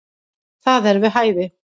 Það er við hæfi.